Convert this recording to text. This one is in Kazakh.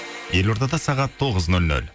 елордада сағат тоғыз нөл нөл